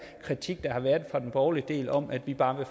kritik der har været fra den borgerlige del om at vi bare